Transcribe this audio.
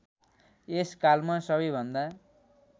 यस कालमा सबैभन्दा